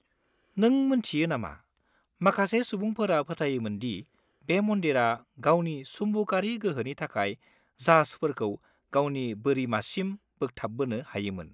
नों मिन्थियो नामा, माखासे सुबुंफोरा फोथायोमोन दि बे मन्दिरा गावनि सुम्बकारि गोहोनि थाखाय जाहाजफोरखौ गावनि बोरिमासिम बोगथाबबोनो हायोमोन?